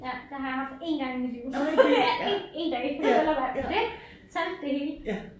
Ja det har jeg haft 1 gang i mit liv ja 1 1 dag vel at mærke men det talte det hele